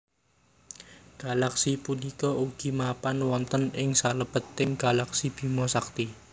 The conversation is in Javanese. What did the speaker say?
Galaksi punika ugi mapan wonten ing salebeting galaksi Bima Sakti